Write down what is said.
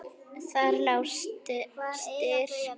Þar lá styrkur hennar.